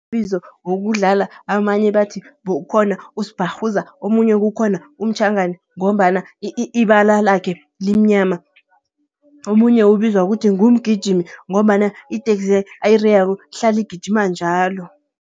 Amabizo wokudlala amanye bathi ukhona, uSbharhuza omunye kukhona uMtjhagana ngombana ibala lakhe limnyama. Omunye ubizwa ngokuthi nguMjigimi ngombana iteksi ayireyako ihlala igijima njalo.